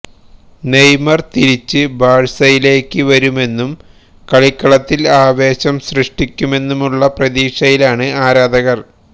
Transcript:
Neymar തിരിച്ച് ബാഴ്സയിലേക്ക് വരുമെന്നും കളിക്കളത്തില് ആവേശം ശൃഷ്ടിക്കുമെന്നുമുള്ള പ്രതീക്ഷയിലാണ് ആരാധകര്